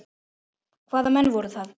Hvaða menn voru það?